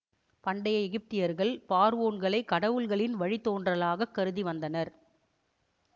பண்டைய எகிப்தியர்கள் பார்வோன்களை கடவுள்களின் வழித்தோன்றலாகக் கருதி வந்தனர்